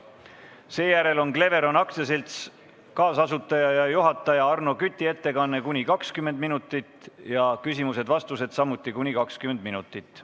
Seejärel on Cleveron AS-i kaasasutaja ja juhataja Arno Küti ettekanne kuni 20 minutit ja küsimused-vastused samuti kuni 20 minutit.